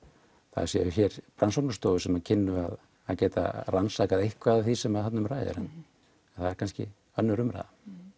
það séu hér rannsóknarstofur sem kynnu eða gætu rannsakað eitthvað af því sem þarna um ræðir en það er kannski önnur umræða